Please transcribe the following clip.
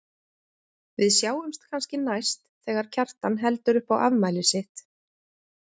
Við sjáumst kannski næst þegar Kjartan heldur upp á afmælið sitt.